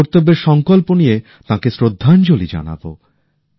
আমাদের কর্তব্যের সংকল্প নিয়ে তাঁকে শ্রদ্ধাঞ্জলি জানাবো